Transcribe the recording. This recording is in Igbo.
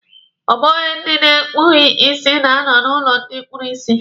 Ọ bụghị ndị na-ekpughi isi na-anọ n'ụlọ ndị kpuru isi.